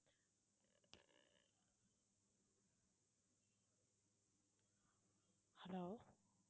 hello